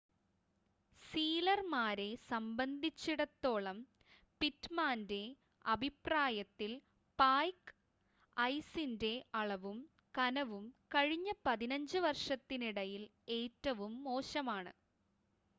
സീലർമാരെ സംബന്ധിച്ചിടത്തോളം പിറ്റ്‌മാൻ്റെ അഭിപ്രായത്തിൽ പായ്ക്ക് ഐസിൻ്റെ അളവും കനവും കഴിഞ്ഞ 15 വർഷത്തിനിടയിൽ ഏറ്റവും മോശമാണ്